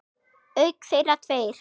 Auk þeirra tveir